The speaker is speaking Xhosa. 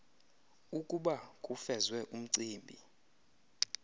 ukuba kufezwe umcimbi